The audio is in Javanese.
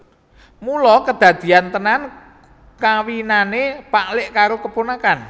Mula kedadeyan tenan kawinane pak lik karo keponakan